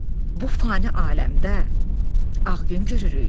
Bu fani aləmdə ağ gün görürük.